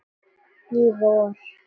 Í vor.